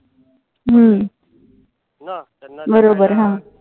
बरोबर हां.